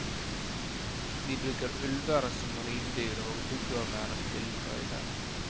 De bruker ulver som ridedyr og huggormer til tøyler.